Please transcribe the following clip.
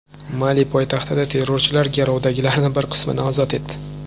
Mali poytaxtidagi terrorchilar garovdagilarning bir qismini ozod etdi.